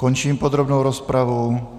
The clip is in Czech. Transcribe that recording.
Končím podrobnou rozpravu.